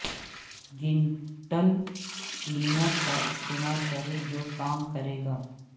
gentle cleaner کا استعمال کریں جو کام کرے گا